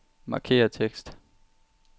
Markér tekst.